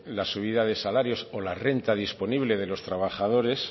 la subida de salarios o la renta disponible de los trabajadores